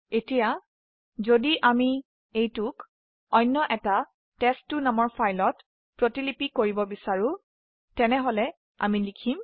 এতিয়া যদি আমি অন্য ফাইল টেষ্ট2 ত প্ৰতিলিপি কৰিব বিচাৰো তেনেহলে আমি লিখম